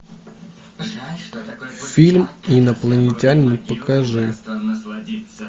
фильм инопланетянин покажи